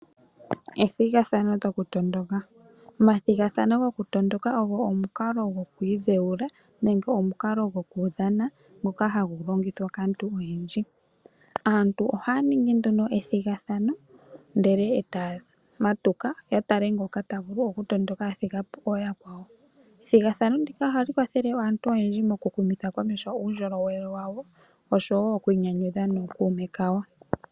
Ethigathano lyokutondoka, omathigathano go ku tondoka ogwo omukalo gwoku idheula, nenge omukalo gwokudhana ngoka hagu longithwa kaantu oyendji. Aantu ohaya ningi nduno ethigathano ndele etaya etayamatuka, yatale ngoka tavulu okuthigapo yakwao. Ethigathano ndika oha li kwathele aantu oyendji oku humitha komeho uundjolowele wa wo, osho woo oku inyanyudha nookume ka yo.